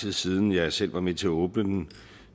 tid siden jeg selv var med til at åbne den